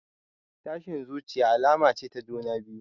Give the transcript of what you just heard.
Tashin zuciya alama ce ta juna biyu.